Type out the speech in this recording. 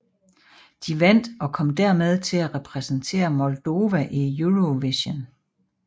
De vandt og kom dermed til at repræsentere Moldava i Eurovision